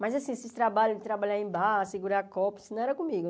Mas, assim, esses trabalhos de trabalhar em bar, segurar copos, isso não era comigo.